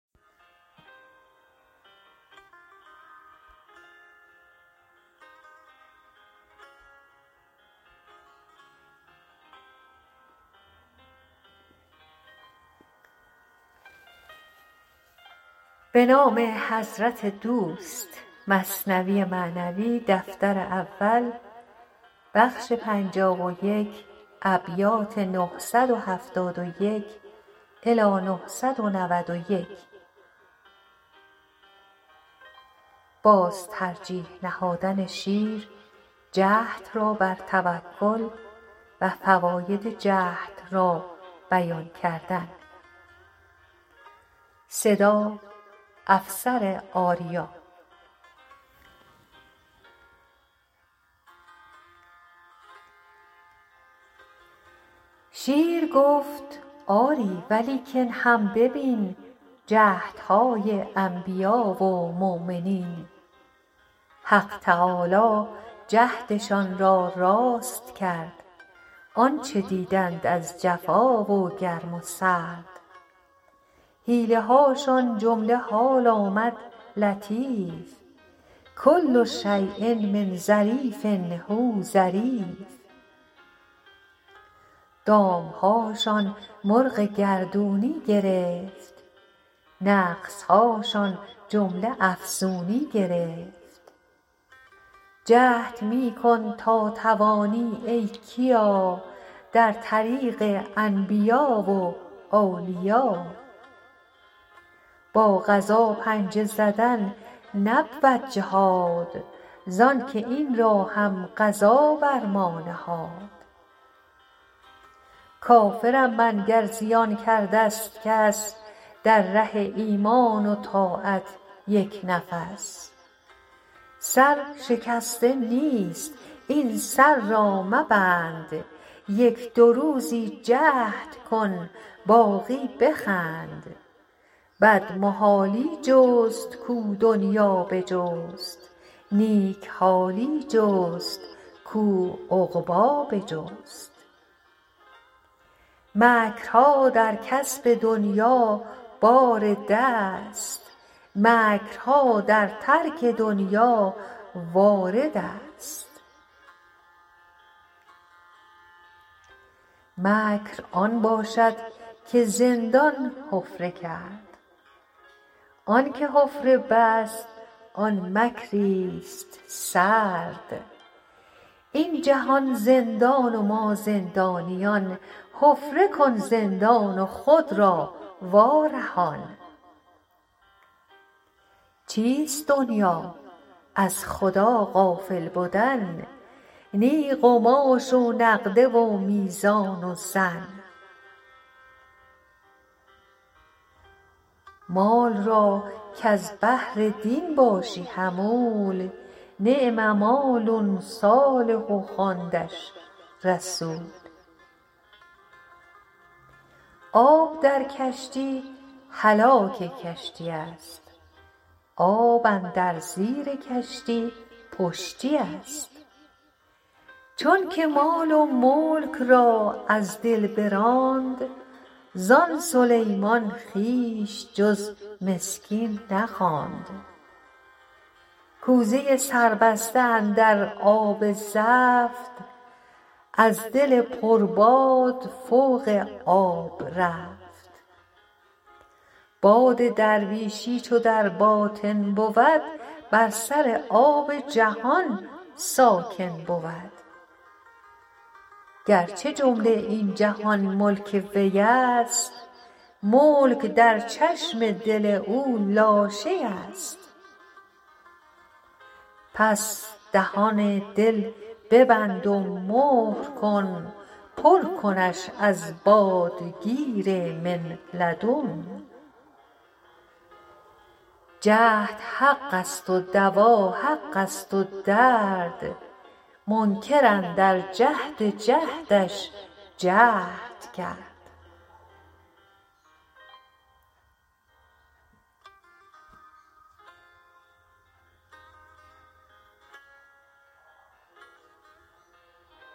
شیر گفت آری ولیکن هم ببین جهد های انبیا و مؤمنین حق تعالی جهد شان را راست کرد آنچه دیدند از جفا و گرم و سرد حیله هاشان جمله حال آمد لطیف کل شیء من ظریف هو ظریف دام هاشان مرغ گردونی گرفت نقص هاشان جمله افزونی گرفت جهد می کن تا توانی ای کیا در طریق انبیاء و اولیا با قضا پنجه زدن نبود جهاد زانکه این را هم قضا بر ما نهاد کافر م من گر زیان کرده ست کس در ره ایمان و طاعت یک نفس سر شکسته نیست این سر را مبند یک دو روزک جهد کن باقی بخند بد محالی جست کاو دنیا بجست نیک حالی جست کاو عقبی بجست مکر ها در کسب دنیا بارد است مکر ها در ترک دنیا وارد است مکر آن باشد که زندان حفره کرد آنکه حفره بست آن مکری ست سرد این جهان زندان و ما زندانیان حفره کن زندان و خود را وا رهان چیست دنیا از خدا غافل بدن نه قماش و نقده و میزان و زن مال را کز بهر دین باشی حمول نعم مال صالح خواندش رسول آب در کشتی هلاک کشتی است آب اندر زیر کشتی پشتی است چونکه مال و ملک را از دل براند زان سلیمان خویش جز مسکین نخواند کوزه سربسته اندر آب زفت از دل پر باد فوق آب رفت باد درویشی چو در باطن بود بر سر آب جهان ساکن بود گر چه جمله این جهان ملک وی ست ملک در چشم دل او لاشی ست پس دهان دل ببند و مهر کن پر کنش از باد کبر من لدن جهد حق ست و دوا حق ست و درد منکر اندر نفی جهد ش جهد کرد